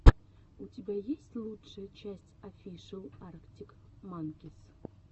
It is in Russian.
у тебя есть лучшая часть офишел арктик манкис